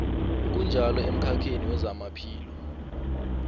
kunjalo emkhakheni wezamaphilo